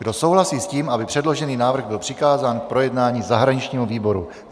Kdo souhlasí s tím, aby předložený návrh byl přikázán k projednání zahraničnímu výboru?